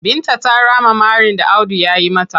Binta ta rama marin da Audu ya yi mata.